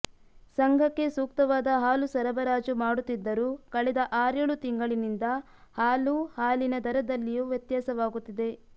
ಸಂಘಕ್ಕೆ ಸೂಕ್ತವಾದ ಹಾಲು ಸರಬರಾಜು ಮಾಡುತ್ತಿದ್ದರೂ ಕಳೆದ ಆರೇಳು ತಿಂಗಳಿನಿಂದ ಹಾಲು ಹಾಲಿನ ದರದಲ್ಲಿಯು ವ್ಯತ್ಯಾಸವಾಗುತ್ತಿದೆ